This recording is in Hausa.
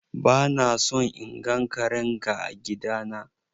Ba na son in gan karen ga a gida na!